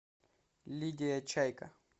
лидия чайка